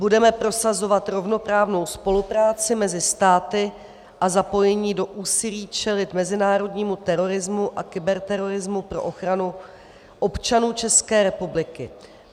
Budeme prosazovat rovnoprávnou spolupráci mezi státy a zapojení do úsilí čelit mezinárodnímu terorismu a kyberterorismu pro ochranu občanů České republiky.